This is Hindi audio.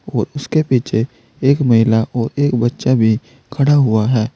उसके पीछे एक महिला और एक बच्चा भी खड़ा हुआ है।